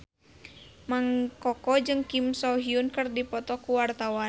Mang Koko jeung Kim So Hyun keur dipoto ku wartawan